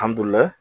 Alihamudulila